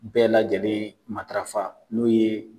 Bɛɛ lajɛlen matafa n'o ye